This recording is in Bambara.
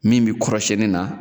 Min mi kɔrɔsɛni na